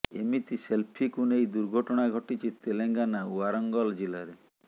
ଏମିତି ସେଲଫିକୁ ନେଇ ଦୁର୍ଘଟଣା ଘଟିଛି ତେଲେଙ୍ଗାନା ୱାରଙ୍ଗଲ ଜିଲ୍ଲାରେ